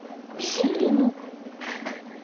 силину